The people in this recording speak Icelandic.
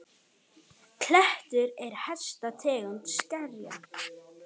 Klettur er hæsta tegund skerja.